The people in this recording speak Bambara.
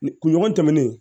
Ni kunɲɔgɔn tɛmɛnen